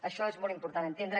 això és molt important entendre